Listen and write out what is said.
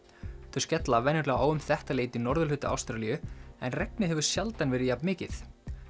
þau skella venjulega á um þetta leyti í norðurhluta Ástralíu en regnið hefur sjaldan verið jafn mikið